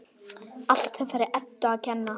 Allt þessari Eddu að kenna!